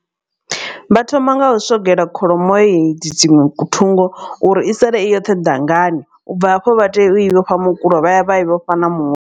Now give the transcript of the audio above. Vha thoma nga u swogela kholomo hedzi dziṅwe thungo uri i sale i yoṱhe dangani ubva hafho vha tea u i vhofha mukulo vha ya vha i vhofha na mu.